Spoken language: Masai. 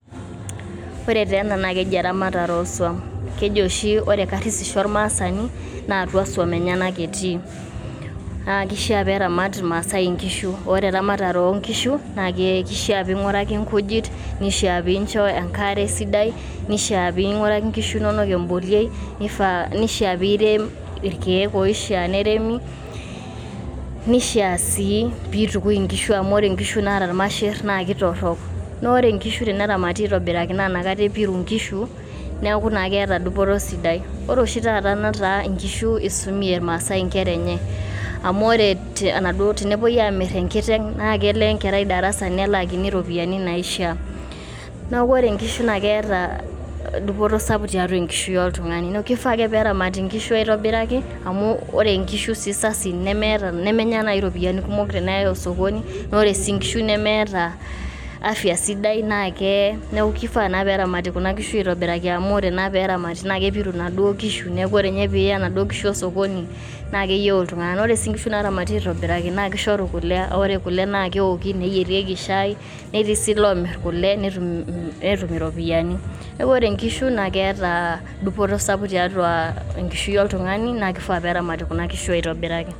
ore taa ena naa keji eramatare oswam .keji oshi ore karsisho ormaasani naa atua swam enyenak etii. naa kishaa pee eramat irmaasae nkishu. orematare oonkishu naa kishiaa pinguraki nkujit ,neishiaa pincho enkare sidai ,nishiaa pinguraki nkishu inonok emboliei ,nishiaa pirem irkieek oshiaa neremi. nishiaa sii pitukui nkishu amu ore nkishu naata irmasher naa kitorok. naa ore nkishu teneramati aitobiraki naa inakata epiru nkishu neaku naa keeta dupoto sidai. ore oshi netaa nkishu isumie irmaasae nkera enyeamu ore enaduo tenepuoi amir enkiteng naa kele enkerai darasa nelaakini iropiyiani naishiaa. niaku ore inkishu naa keeta dupoto sapuk tiatua enkishui oltungani neaku kifaa ake peeramati nkishu aitobiraki amu ore nkishu sii sasin nemmeta nemenya iropiyiani kumok tenayay osokoni . naa ore nkishu nemeeta afya sidai naa keye. niaku kifaa naa peramati nkishu aitobiraki amu ore naa peramati naa kepiru inaduoo kishu neaku ore ninye piya ina duoo kishu osokoni naa keyieu iltunganak .ore sii nkishu naramati aitobiraki naa kishoru kule.